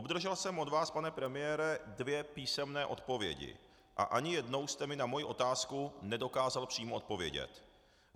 Obdržel jsem od vás, pane premiére, dvě písemné odpovědi a ani jednou jste mi na moji otázku nedokázal přímo odpovědět.